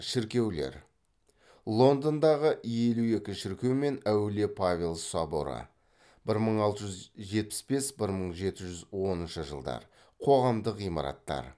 шіркеулер лондандағы елу екі шіркеу мен әулие павел соборы бір мың алты жүз жетпіс бес бір мың жеті жүз оныншы жылдар қоғамдық ғимараттар